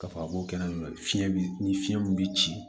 K'a fɔ a b'o kɛnɛ fiɲɛ bi ni fiɲɛ min bi ci